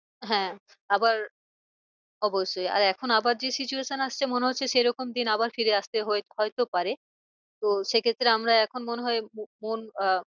হ্যাঁ আবার অবশ্যই আর এখন আবার যে situation আসছে মনে হচ্ছে সে রকম দিন আবার ফিরে আসতে হয় তো পারে তো সে ক্ষেত্রে আমরা এখন মনে হয় আহ